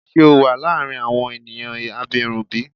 Ṣe o wa laarin awọn eniyan abirun bi?